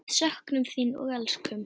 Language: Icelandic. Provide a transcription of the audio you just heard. Við söknum þín og elskum.